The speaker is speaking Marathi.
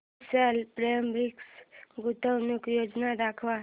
विशाल फॅब्रिक्स गुंतवणूक योजना दाखव